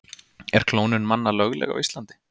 Er klónun manna lögleg á Íslandi?